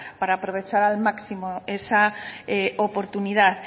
para aprovechar al máximo esa oportunidad